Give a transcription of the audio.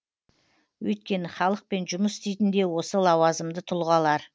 өйткені халықпен жұмыс істейтін де осы лауазымды тұлғалар